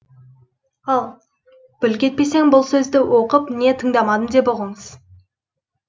ал бүлкетпесең бұл сөзді оқып не тыңдамадым деп ұғыңыз